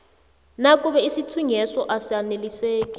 nakube isithunyweso asaneliseki